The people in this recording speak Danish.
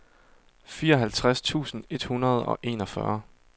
fireoghalvtreds tusind et hundrede og enogfyrre